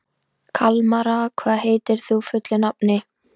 Kalmara, hvað heitir þú fullu nafni?